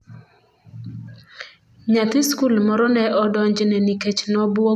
Nyathi skul moro ne odonjne nikech nobwogo japuonjne gi bunde molos gi chuma